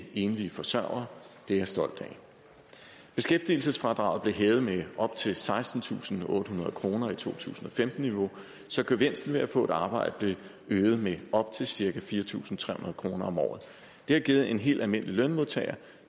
enlige forsørgere det er jeg stolt af beskæftigelsesfradraget blev hævet med op til sekstentusinde og ottehundrede kroner i to tusind og femten niveau så gevinsten ved at få et arbejde blev øget med op til cirka fire tusind tre hundrede kroner om året det har givet en helt almindelig lønmodtager